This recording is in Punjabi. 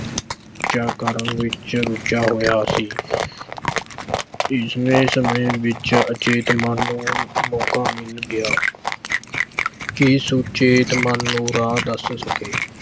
ਚਾ ਕਰਨ ਵਿੱਚ ਰੁਝਿਆ ਹੋਇਆ ਸੀ ਇਸ ਸਮੇਂ ਵਿੱਚ ਉਚੇਤ ਮਨ ਨੂੰ ਮੌਕਾ ਮਿਲ ਗਿਆ ਕਿ ਸੁਚੇਤ ਮਨ ਨੂੰ ਰਾਹ ਦੱਸ ਸਕੇ।